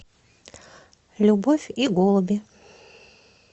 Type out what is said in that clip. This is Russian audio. любовь и голуби